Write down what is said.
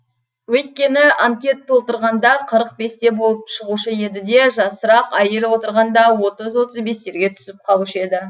өйткені анкет толтырғанда қырық бесте болып шығушы еді де жасырақ әйел отырғанда отыз отыз бестерге түсіп қалушы еді